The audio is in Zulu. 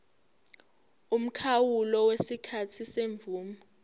umkhawulo wesikhathi semvume